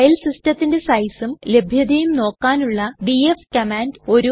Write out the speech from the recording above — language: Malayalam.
ഫയൽ സിസ്റ്റത്തിന്റെ സൈസും ലഭ്യതയും നോക്കാനുള്ള dfകമാൻഡ്